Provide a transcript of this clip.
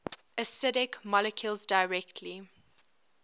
acidic molecules directly